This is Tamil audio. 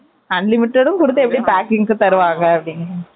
unlimited யும் கொடுத்து எப்படி packing க்கு தருவாங்க அப்படின்னு